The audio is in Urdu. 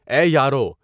اے یاروں!